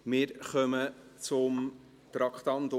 Wir kommen zum Traktandum 44.